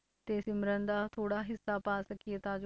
ਤੇ ਸਿਮਰਨ ਦਾ ਥੋੜ੍ਹਾ ਹਿੱਸਾ ਪਾ ਸਕੀਏ ਤਾਂ ਜੋ